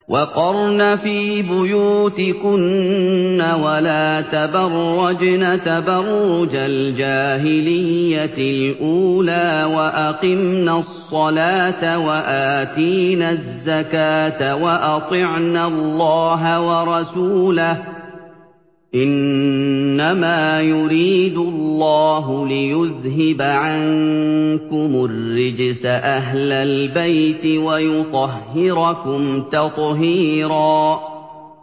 وَقَرْنَ فِي بُيُوتِكُنَّ وَلَا تَبَرَّجْنَ تَبَرُّجَ الْجَاهِلِيَّةِ الْأُولَىٰ ۖ وَأَقِمْنَ الصَّلَاةَ وَآتِينَ الزَّكَاةَ وَأَطِعْنَ اللَّهَ وَرَسُولَهُ ۚ إِنَّمَا يُرِيدُ اللَّهُ لِيُذْهِبَ عَنكُمُ الرِّجْسَ أَهْلَ الْبَيْتِ وَيُطَهِّرَكُمْ تَطْهِيرًا